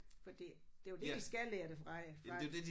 Fordi det jo det de skal lære det fra jer fra